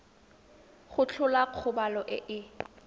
go tlhola kgobalo e e